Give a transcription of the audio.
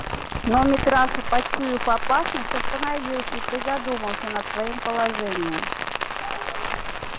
но митраша почуяв опасность остановился и призадумался над своим положением